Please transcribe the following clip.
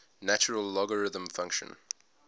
natural logarithm function